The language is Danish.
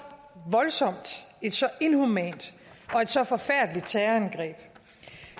voldsomt et så inhumant og et så forfærdeligt terrorangreb